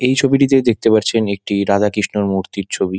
এই ছবিটিতে দেখতে পারছেন একটি রাধাকৃষ্ণর মূর্তির ছবি।